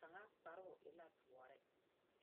kaŋa kparoo e la doɔre. 13390